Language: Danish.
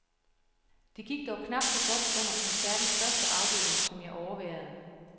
Det gik dog knap så godt under koncertens første afdeling, som jeg overværede.